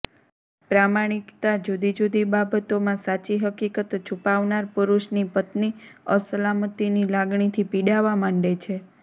પ્રમાણિકતા જુદી જુદી બાબતોમાં સાચી હકીકત છૂપાવનાર પુરુષની પત્ની અસલામતીની લાગણીથી પીડાવા માંડે છે